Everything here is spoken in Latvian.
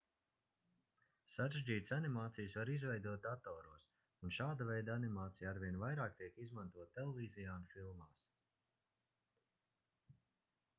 sarežģītas animācijas var izveidot datoros un šāda veida animācija arvien vairāk tiek izmantota televīzijā un filmās